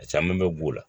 A caman bɛ b'o la